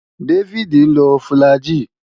Dáfídì ń lo fùlàgi